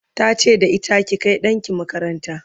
ta ce da ita"ki Kai ɗanki makaranta!"